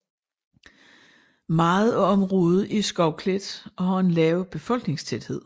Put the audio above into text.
Meget af området er skovklædt og har en lav befolkningstæthed